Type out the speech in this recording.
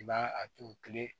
I b'a a turu kile